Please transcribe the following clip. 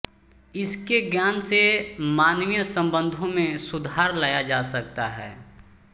इसके ज्ञान से मानवीय सम्बन्धों में सुधार लाया जा सकता है